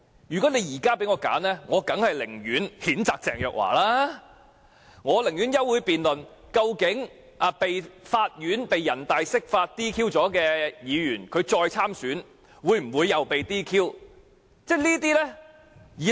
如果現在讓我選擇，我當然寧可譴責鄭若驊、寧可動議休會辯論議案，談談被人大釋法撤銷資格的議員如再參選，會否再被撤銷資格這類議題。